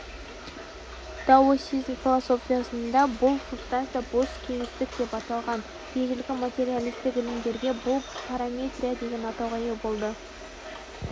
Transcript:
даосизм философиясында бұл субстанция бос кеңістік деп аталған ежелгі материалистік ілімдерге бұл праматерия деген атауға ие болды